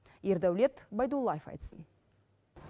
ердаулет байдуллаев айтсын